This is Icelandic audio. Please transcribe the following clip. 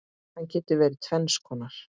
Hann getur verið tvenns konar